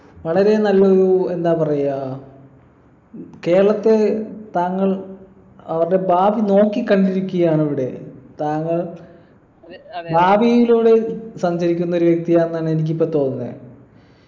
വളരെ നല്ലൊരു എന്താ പറയാ കേരളത്തെ താങ്കൾ അവരുടെ ഭാവി നോക്കിക്കണ്ടിരിക്കുകയാണവിടെ താങ്കൾ ഭാവിയിലൂടെ ഒരു സഞ്ചരിക്കുന്ന ഒരു വ്യക്തിയാണെന്നാണ് എനിക്ക് ഇപ്പൊ തോന്നുന്നെ